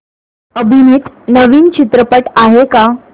अभिनीत नवीन चित्रपट आहे का